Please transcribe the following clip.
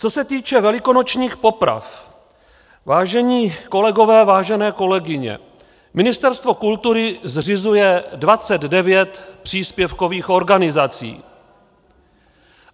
Co se týče velikonočních poprav, vážení kolegové, vážené kolegyně, Ministerstvo kultury zřizuje 29 příspěvkových organizací.